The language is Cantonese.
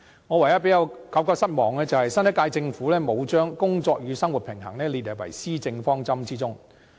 我唯一感到失望的，就是新一屆政府沒有將"工作與生活平衡"列入施政方針中。